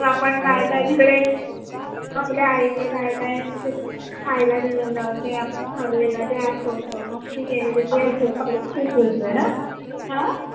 मग आपण काय काय तिकडे आपल्या आईने आपल्याला काय काय दिलेल ते आपण खाल्लेल ते आठवत मस्ती केलेली ते ह?